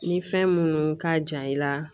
Ni fɛn minnu ka jan i la